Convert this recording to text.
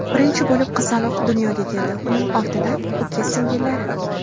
Birinchi bo‘lib qizaloq dunyoga keldi, uning ortidan uka-singillari.